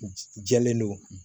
Jɛlen don